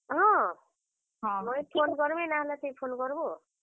ହଁ, ମୁଇଁ phone କର୍ ମି ନାଇଁ ହେଲେ ତୁଇ phone କର୍ ବୁ ଆଉ।